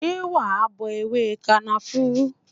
Ṣé wa bọ ewé kànáfùrú?